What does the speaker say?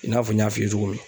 I n'a fɔ n y'a f'i ye cogo min.